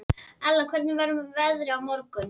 Ella, hvernig verður veðrið á morgun?